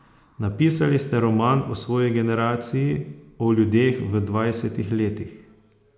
Napisali ste roman o svoji generaciji, o ljudeh v dvajsetih letih.